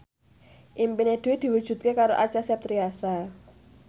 impine Dwi diwujudke karo Acha Septriasa